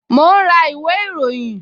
Mo ń ra ìwé ìròyìn